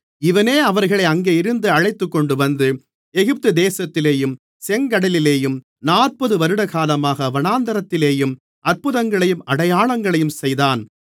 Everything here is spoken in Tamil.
இவனே அவர்களை அங்கேயிருந்து அழைத்துக்கொண்டுவந்து எகிப்து தேசத்திலேயும் செங்கடலிலேயும் நாற்பது வருடகாலமாக வனாந்திரத்திலேயும் அற்புதங்களையும் அடையாளங்களையும் செய்தான்